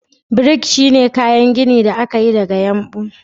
Brick shine kayan gini da aka yi daga yumbu.